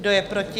Kdo je proti?